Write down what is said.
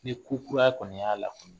Ni ko kura kɔni y'a lakunu